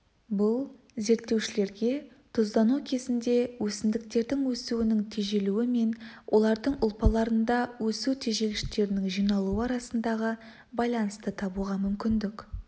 бұл зерттеушілерге тұздану кезінде өсімдіктердің өсуінің тежелуі мен олардың ұлпаларында өсу тежегіштерінің жиналуы арасындағы байланысты табуға мүмкіндік